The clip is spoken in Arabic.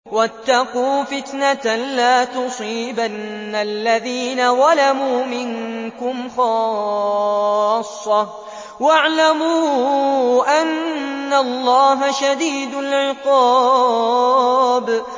وَاتَّقُوا فِتْنَةً لَّا تُصِيبَنَّ الَّذِينَ ظَلَمُوا مِنكُمْ خَاصَّةً ۖ وَاعْلَمُوا أَنَّ اللَّهَ شَدِيدُ الْعِقَابِ